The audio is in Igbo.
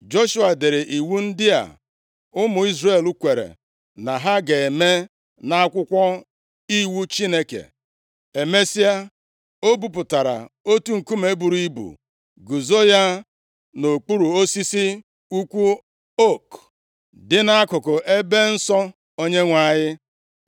Joshua dere iwu ndị a ụmụ Izrel kwere na ha ga-eme nʼAkwụkwọ Iwu Chineke. Emesịa, o bupụtara otu nkume buru ibu guzo ya nʼokpuru osisi ukwu ook dị nʼakụkụ ebe nsọ Onyenwe anyị.